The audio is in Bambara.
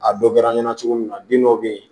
A dɔ kɛra n ɲɛna cogo min na den dɔ bɛ ye